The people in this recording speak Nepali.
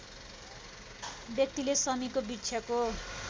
व्यक्तिले शमीको वृक्षको